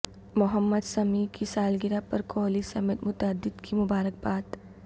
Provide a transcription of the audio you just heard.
محمد سمیع کی سالگرہ پرکوہلی سمیت متعدد کی مبارکباد